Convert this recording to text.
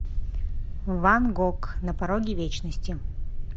ван гог на пороге вечности